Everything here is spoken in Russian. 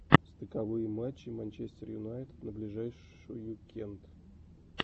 стыковые матчи манчестера юнайтед на ближайшую кент